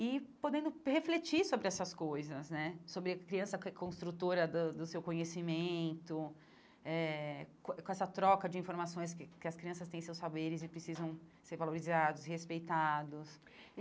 e podendo refletir sobre essas coisas né, sobre a criança que é construtora da do seu conhecimento eh, com com essa troca de informações, que que as crianças têm seus saberes e precisam ser valorizados, respeitados.